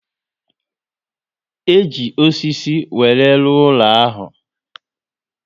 E ji osisi were rụọ ụlọ ahụ?